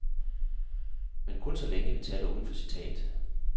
Men kun så længe, vi taler uden for citat.